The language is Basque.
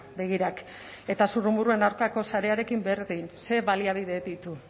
begirak eta zurrumurruen aurkako sarearekin berdin zer baliabide ditu